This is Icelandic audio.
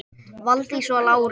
Valdís og Lárus.